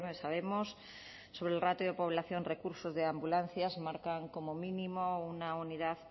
sabemos sobre el ratio de población recursos de ambulancias marcan como mínimo una unidad